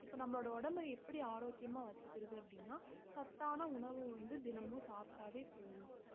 இப்ப நம்மளோட உடம்ப எப்படி ஆரோக்கியமா வச்சுக்கிறது அப்படின்னா சத்தான உணவு வந்து தினமும் சாப்பிட்டாவே போதும்